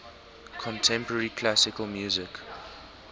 contemporary classical music